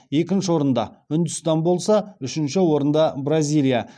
екінші орында үндістан болса үшінші орында бразилия